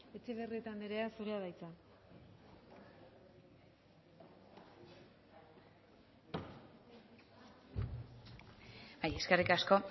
etxebarrieta anderea zurea da hitza bai eskerrik asko